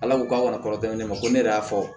Ala ko k'aw kana kɔnɔ tɛmɛ ne ma ko ne yɛrɛ y'a fɔ